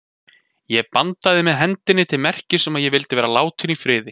Ég bandaði með hendinni til merkis um að ég vildi vera látin í friði.